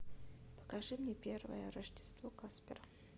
покажи мне первое рождество каспера